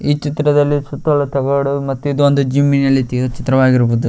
ಈ ಚಿತ್ರದಲ್ಲಿ ಸುತ್ತಲು ತಗಡು ಮತ್ತು ಇದೊಂದು ಜಿಮ್ ಇನಲ್ಲಿ ಚಿತ್ರವಾಗಿರಬಹುದು.